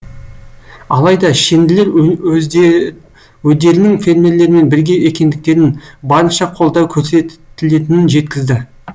алайда шенділер өдерінің фермерлермен бірге екендіктерін барынша қолдау көрсетілетінін жеткізді